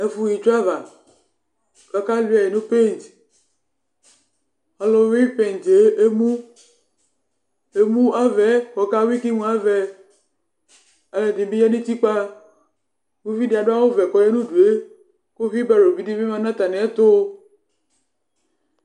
Ɛfu ha itsuava k'aka luɛ̃ nu paint, ɔluwuí paint emu, emu avaɛ k' ɔka wuí, ɔluɛdi bi ya nu utigba, uvidi adu awù vɛ k'ɔya nu udue, ku huibaro di bi ma nu atamì ɛtu